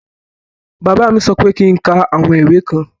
Bàbá mí sọ pé kí ń ká àwọn ìwé kan.